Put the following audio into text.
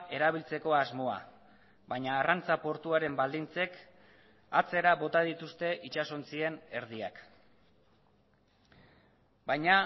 erabiltzeko asmoa baina arrantza portuaren baldintzek atzera bota dituzte itsasontzien erdiak baina